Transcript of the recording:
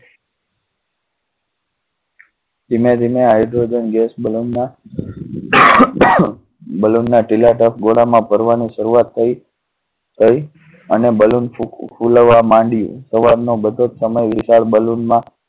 ધીમે ધીમે hydrogen gas balloon ના balloon ના ટીલા તરફ ઘોડા માં ભરવા ની શરૂઆત થઈ થઈ. અને balloon ફૂ~ફૂલવા માંડી. સવાર નો બધોજ સમય વિશાળ balloon માં